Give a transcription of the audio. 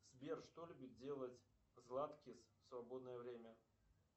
сбер что любит делать златкис в свободное время